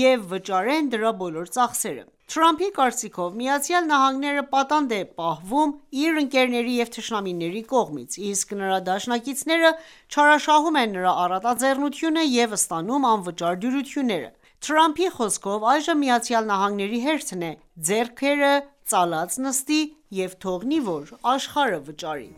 և վճարեն դրա բոլոր ծախսերը։ Թրամփի կարծիքով՝ ԱՄՆ-ը պատանդ է պահվում իր ընկերների և թշնամիների կողմից, իսկ նրա դաշնակիցները չարաշահում են նրա առատաձեռնությունը և ստանում անվճար դյուրություններ: Թրամփի խոսքով՝ այժմ ԱՄՆ-ի հերթն է՝ ձեռքերը ծալած նստի և թողնի, որ աշխարհը վճարի։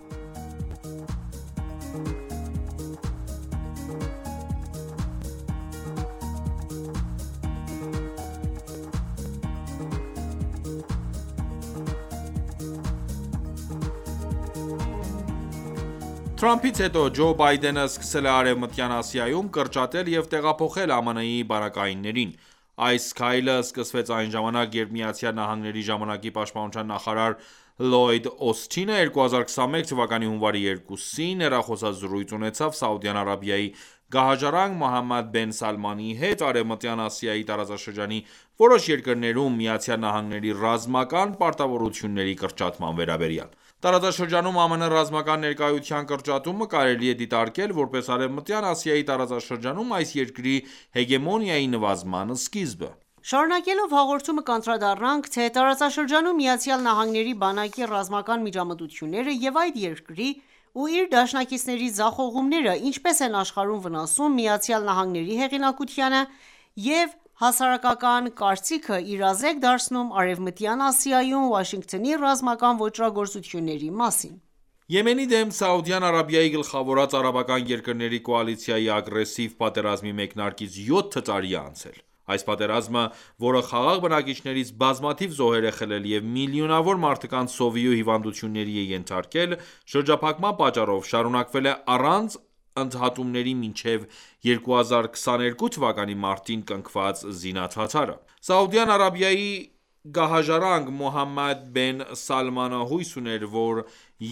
Թրամփից հետո, Ջո Բայդենը սկսել է Արևմտյան Ասիայում կրճատել և տեղափոխել ԱՄՆ –ի բանակայիններին: Այս քայլը սկսվեց այն ժամանակ, երբ ԱՄՆ ժամանակի պաշտպանության նախարար Լլոյդ Օսթինը, 2021 թվականի հունվարի 2-ին՝ հեռախոսազրույց ունեցավ Սաուդյան Արաբիայի գահաժառանգ Մոհամմեդ բեն Սալմանի հետ ՝ Արևմտյան Ասիայի տարածաշրջանի որոշ երկրներում ԱՄՆ ռազմական պարտավորությունների կրճատման վերաբերյալ: Տարածաշրջանում ԱՄՆ ռազմական ներկայության կրճատումը կարելի է դիտարկել ,որպես Արեւմտյան Ասիայի տարածաշրջանում այս երկրի հեգեմոնիայի նվազման սկիզբը: Շարունակելով հաղորդումը կանդրադառնանք թե՝ տարածաշրջանում ԱՄՆ-ի բանակի ռազմական միջամտությունները և այդ երկրի ու իր դաշնակիցների ձախողումները ,ինչպես են աշխարհում վնասում ԱՄՆ-ի հեղինակությանը և հասարակական կարծիքը իրազեկ դարձնում Արևմտյան Ասիայում ,Վաշինգտոնի ռազմական ոճրագործությունների մասին: Եմենի դեմ Սաուդյան Արաբիայի գլխավորած արաբական երկրների կոալիցիայի ագրեսիվ պատերազմի մեկնարկից յոթ տարի է անցել։ Այս պատերազմը, որը խաղաղ բնակիչներից բազմաթիվ զոհեր է խլել և միլիոնավոր մարդկանց սովի ու հիվանդությունների ենթարկել՝ շրջափակման պատճառով, շարունակվել է առանց ընդհատումների մինչև 2022 թվականի մարտին կնքված զինադադարը։ Սաուդյան Արաբիայի գահաժառանգ Մուհամմեդ բեն Սալմանը հույս ուներ, որ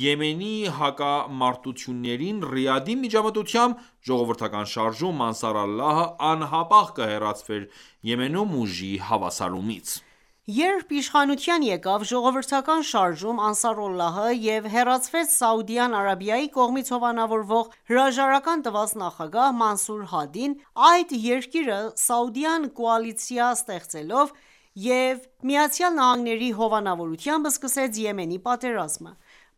Եմենի հակամարտություններին Ռիադի միջամտությամբ, Ժողովրդական շարժում ՝«Անսարալլահ»-ը անհապաղ կհեռացվեր Եմենում ուժի հավասարումից: Երբ իշխանության եկավ ժողովրդական շարժում՝Անսարալլահը և հեռացվեց Սաուդյան Արաբիայի կողմից հովանավորվող հրաժարական տված նախագահ Մանսուր Հադին, այդ երկիրը Սաուդյան կոալիցիա ստեղծելով և ԱՄՆ-ի հովանավորությամբ սկսեց Եմենի պատերազմը: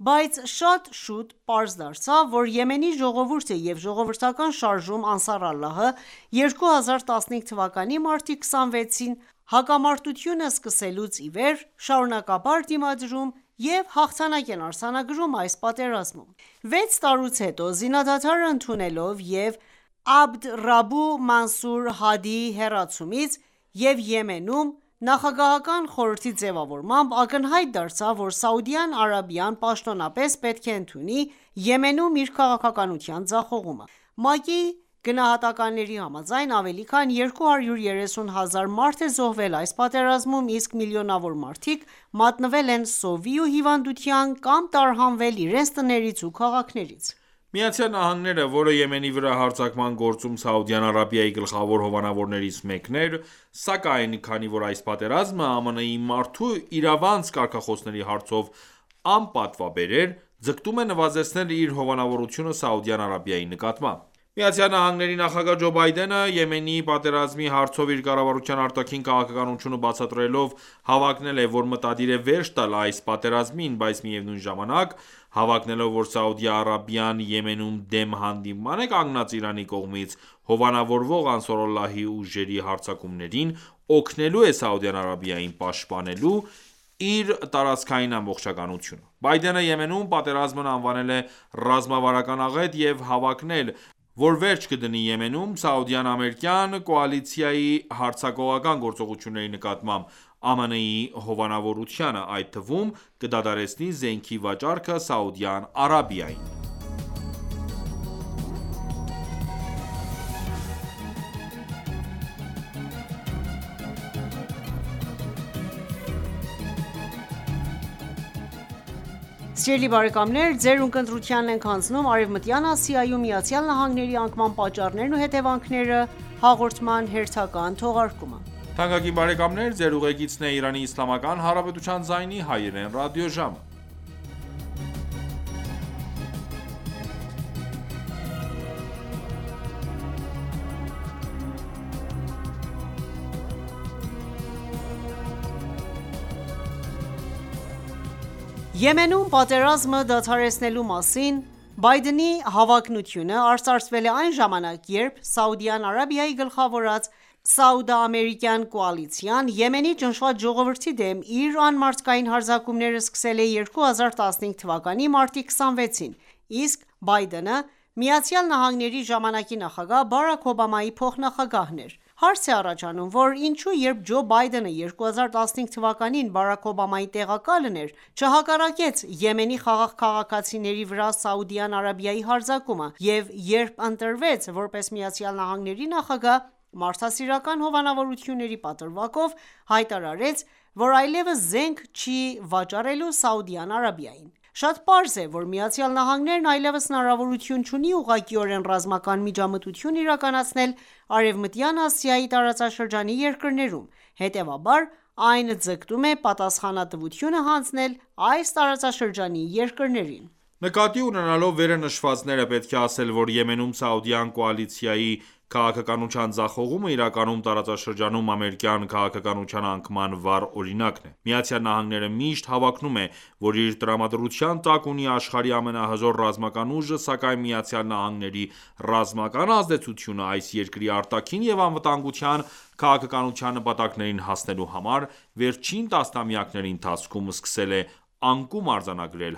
Բայց շատ շուտ պարզ դարձավ, որ Եմենի ժողովուրդը և ժողովրդական շարժում՝ Անսարալլահը, 2015 թվականի մարտի 26-ին հակամարտությունը սկսվելուց ի վեր ,շարունակաբար դիմադրում և հաղթանակ են արձանագրում այս պատերազմում: Վեց տարուց հետո ,զինադադարը ընդունելով և Աբդ Ռաբու Մանսուր Հադիի հեռացումից և Եմենում նախագահական խորհրդի ձևավորմամբ ,ակնհայտ դարձավ, որ Սաուդյան Արաբիան պաշտոնապես պետք է ընդունի Եմենում իր քաղաքականության ձախողումը։ ՄԱԿ-ի գնահատականների համաձայն՝ ավելի քան 230,000 մարդ է զոհվել այս պատերազմում, իսկ միլիոնավոր մարդիկ մատնվել են սովի ու հիվանդության կամ տարհանվել իրենց տներից ու քաղաքներից։ Միացյալ Նահանգները, որը Եմենի վրա հարձակման գործում Սաուդյան Արաբիայի գլխավոր հովանավորներից մեկն էր, սակայն քանի որ այս պատերազմը ԱՄՆ-ի մարդու իրավանց կարգախոսների հարցով անպատվաբեր էր, ձգտում է նվազեցնել իր հովանավորությունը Սաուդյան Արաբիայի նկատմամբ: ԱՄՆ նախագահ Ջո Բայդենը, Եմենի պատերազմի հարցով իր կառավարության արտաքին քաղաքականությունը բացատրելով ,հավակնել է, որ մտադիր է վերջ տալ այս պատերազմին, բայց միևնույն ժամանակ, հավակնելով, որ Սաուդյան Արաբիան Եմենում դեմ հանդիման է կանգնած Իրանի կողմից հովանավորվող Անսարալլահի ուժերի հարձակումներին, օգնելու է Սաուդյան Արաբիային, պաշտպանելու՝ իր «տարածքային ամբողջականությունը»։ Բայդենը, Եմենում պատերազմն անվանել է «ռազմավարական աղետ» և հավակնել, որ վերջ կդնի Եմենում, Սաուդյան-ամերիկյան կոալիցիայի հարձակողական գործողությունների նկատմամբ ԱՄՆ-ի հովանավորությանը, այդ թվում կդադարեցնի զենքի վաճառքը Սաուդյան Արաբիային»։ Եմենում պատերազմը դադարեցնելու մասին Բայդենի հավակնությունը արծարծվել է այն ժամանակ, երբ Սաուդյան Արաբիայի գլխավորած սաուդա-ամերիկյան կոալիցիան ,Եմենի ճնշված ժողովրդի դեմ իր անմարդկային հարձակումները սկսել է 2015 թվականի մարտի 26-ին, իսկ Բայդենը ԱՄՆ –ի ժամանակի նախագահ Բարաք Օբամայի փոխնախագահն էր :Հարց է առաջանում ,որ ի՞նչու երբ Ջո Բայդենը 2015 թվականին Բարաք Օբամայի տեղակալն էր ,չհակառակեց Եմենի խաղաղ քաղաքացիների վրա Սաուդյան Արաբիայի հարձակմանը և երբ ընտրվեց ,որպես ԱՄՆ-ի նախագահ, մարդասիրական հովանավորությունների պատրվակով հայտարարեց ,որ այլևս զենք չի վաճառելու Սաուդյան Արաբիային: Շատ պարզ է ,որ ԱՄՆ-ն այլևս հնարավորություն չունի ուղղակիորեն ռազմական միջամտություն իրականացնել Արևմտյան Ասիայի տարածաշրջանի երկրներում, հետեւաբար, այն ձգտում է պատասխանատվությունը հանձնել այս տարածաշրջանի երկրներին։ Նկատի ունենալով վերը նշվածները, պետք է ասել, որ Եմենում սաուդյան կոալիցիայի քաղաքականության ձախողումը իրականում տարածաշրջանում ամերիկյան քաղաքականության անկման վառ օրինակն է։Միացյալ Նահանգները միշտ հավակնում է ,որ իր տրամադրության տակ ունի աշխարհի ամենահզոր ռազմական ուժը, սակայն ԱՄՆ-ի ռազմական ազդեցությունը այս երկրի արտաքին և անվտանգության քաղաքականության նպատակներին հասնելու համար վերջին տասնամյակների ընթացքում սկսել է անկում արձանագրել,